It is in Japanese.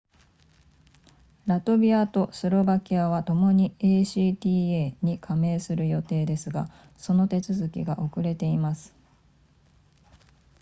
ラトビアとスロバキアはともに acta に加盟する予定ですがその手続きが遅れています